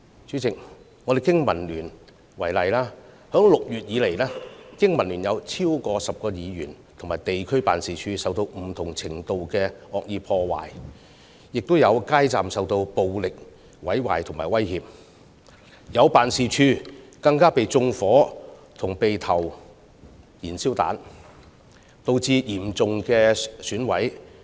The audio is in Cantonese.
主席，以經民聯為例，自6月以來，經民聯有超過10名議員和地區辦事處受到不同程度的惡意破壞，亦有街站受暴力毀壞和威脅，更有辦事處被縱火及投擲燃燒彈，損毀嚴重。